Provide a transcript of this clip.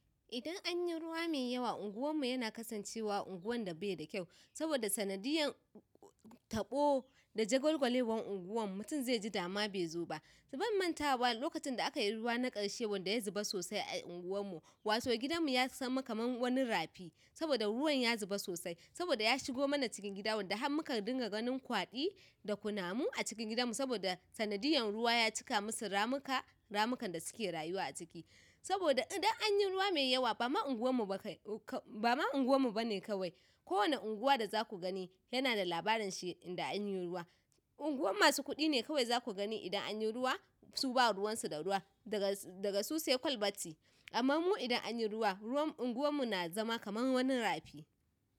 Idan an yi ruwa mai yawa, unguwarmu yana kasancewa unguwan da bai da kyau. Saboda sanadiyan taɓo da jagwalgwalewan unguwan mutum zai ji dama bai zoba. Ban mantawa lokacin da aka yi ruwa na ƙarshe wanda ya zuba sosai a unguwarmu, wato gidan mu ya zama kaman wani rafi. Saboda ruwan ya zuba sosai. Saboda ya shigo mana cikin gida wanda har muka dinga ganin kwaɗi da kunamu a cikin gidanmu saboda sanadiyan ruwa ya cika musu ramuka, ramukan da suke rayuwa a ciki. Saboda idan anyi ruwa mai yawa bama unguwar mu bane kawai ko wane unguwa da za ku gani yana da labarin shi idan an yi ruwa. Unguwan masu kuɗi ne kawai za ku gani idan an yi ruwa su ba ruwan su da ruwa daga, daga su sai kwalbati. Amma mu idan an yi ruwa, ruwan unguwar mu na zama kaman wani rafi.